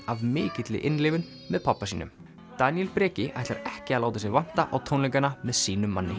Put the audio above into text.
af mikilli innlifun með pabba sínum Daníel Breki ætlar ekki að láta sig vanta á tónleikana með sínum manni